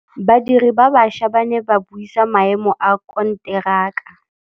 Badiri ba baša ba ne ba buisa maêmô a konteraka.